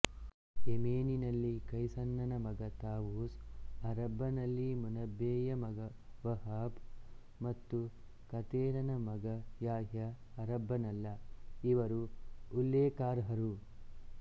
ಯೆಮೆನಿನಲ್ಲಿ ಕೈಸನ್ನನ ಮಗ ತಾವೂಸ್ ಅರಬ್ಬನಲ್ಲಿ ಮುನಬ್ಬೇಯ ಮಗ ವಹಾಬ್ ಮತ್ತು ಕಥೇರನ ಮಗ ಯಾಹ್ಯ ಅರಬ್ಬನಲ್ಲ ಇವರು ಉಲ್ಲೇಖಾರ್ಹರು